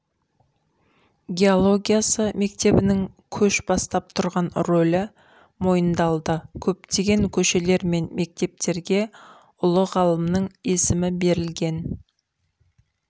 геологиясы мектебінің көш бастап тұрған рөлі мойындалды көптеген көшелер мен мектептерге ұлы ғалымның есімі берілген